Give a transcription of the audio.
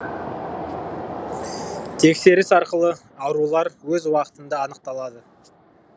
тексеріс арқылы аурулар өз уақытында анықталады